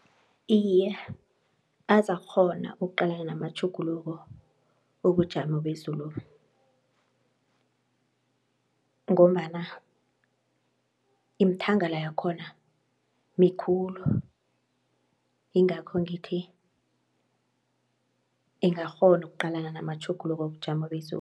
Iye azakukghona ukuqalana namatjhuguluko wobujamo bezulobu, ngombana imithangala yakhona mikhulu ingakho ngithi ingakghona ukuqalana namatjhuguluko wobujamo bezulu